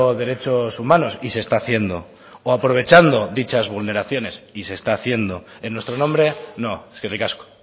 derechos humanos y se está haciendo o aprovechando dichas vulneraciones y se está haciendo en nuestro nombre no eskerrik asko